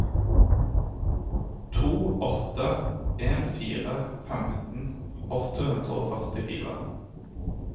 to åtte en fire femten åtte hundre og førtifire